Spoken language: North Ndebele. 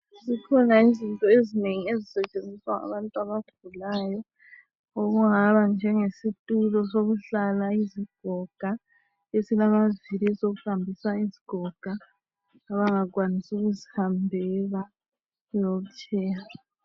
Zikhona izinto ezinengi ezisetshenziswa ngabantu abagulayo okungaba njenge situlo sokuhlala izigoga esilamaviri esokuhambisa izigoga abangakwanisi ukuzihambela iwheelchair